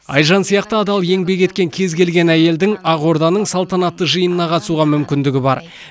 айжан сияқты адал еңбек еткен кез келген әйелдің ақорданың салтанатты жиынына қатысуға мүмкіндігі бар